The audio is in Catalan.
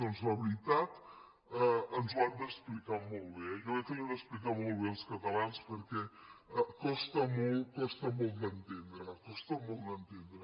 doncs la veritat ens ho han d’explicar molt bé eh jo crec que ho han d’explicar molt bé als catalans perquè costa molt d’entendre costa molt d’entendre